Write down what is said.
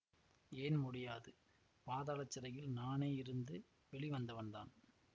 ஏன் முடியாது பாதாள சிறையில் நானே இருந்து வெளி வந்தவன்தான்